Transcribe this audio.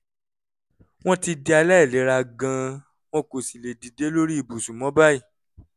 wọ́n ti di aláìlera gan-an wọn kò sì lè dìde lórí ibùsùn mọ́ báyìí